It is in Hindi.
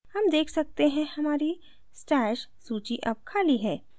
हम देख सकते हैं हमारी stash सूची अब खाली है